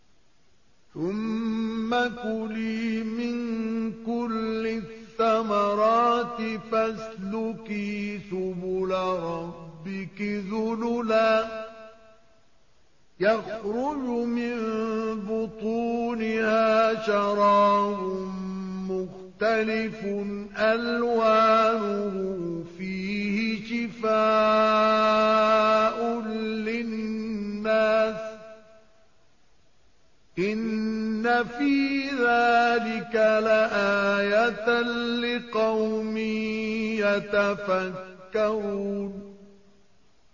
ثُمَّ كُلِي مِن كُلِّ الثَّمَرَاتِ فَاسْلُكِي سُبُلَ رَبِّكِ ذُلُلًا ۚ يَخْرُجُ مِن بُطُونِهَا شَرَابٌ مُّخْتَلِفٌ أَلْوَانُهُ فِيهِ شِفَاءٌ لِّلنَّاسِ ۗ إِنَّ فِي ذَٰلِكَ لَآيَةً لِّقَوْمٍ يَتَفَكَّرُونَ